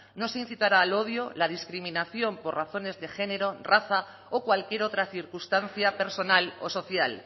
no se incitará al odio la discriminación por razones de género raza o cualquier otra circunstancia personal o social